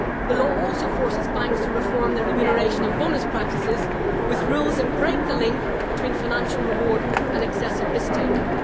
The law also forces banks to reform their remuneration and bonus practices with rules that break the link between financial reward and excessive risk taking.